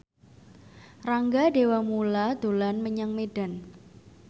Rangga Dewamoela dolan menyang Medan